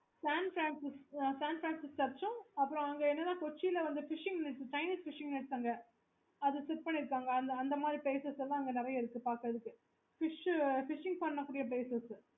okay